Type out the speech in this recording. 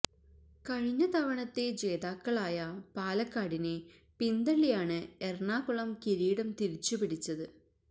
കഴിഞ്ഞ തവണത്തെ ജേതാക്കളായ പാലക്കാടിനെ പിന്തള്ളിയാണ് എറണാകുളം കിരീടം തിരിച്ചു പിടിച്ചത്